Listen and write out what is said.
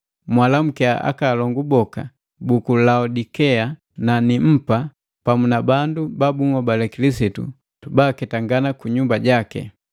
Mwalamukiya akaalongu boka buku Laodikea na Nimpa pamu na bandu ba bunhobale Kilisitu baaketangana kunyumba jaki.